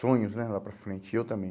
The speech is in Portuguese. sonhos né, lá para frente, e eu também.